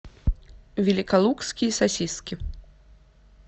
великолукские сосиски